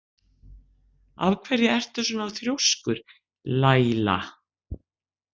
Af hverju ertu svona þrjóskur, Laíla?